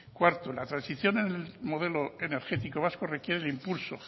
cuarto la transición en el modelo energético vasco requiere el impulso